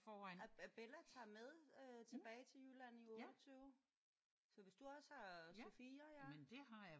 Og og Bella tager med øh tilbage til Jylland i uge 28 så hvis du også har Sofia ja?